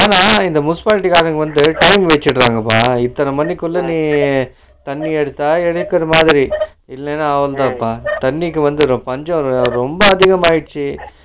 ஆனா இந்த bushvalve வகும்போது coin வெச்சிடுரான்கப்பா இந்தன மணிக்குள்ள நீ தண்ணி எடுத்தா எடுத்தமாதிரி இல்லனா அவ்ளோதான்பா தண்ணிக்கு வந்து பஞ்சம் ரொம்ப அதிகம்மாகிடுச்சு